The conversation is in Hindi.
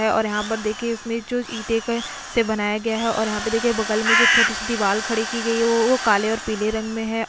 है और यहां पर देखिए इसमें जो ईटे का से बनाया गया है और यहां पे देखिए बगल में जो छोटी सी दीवार खड़ी की गई है वो वो काले और पीले रंग में है।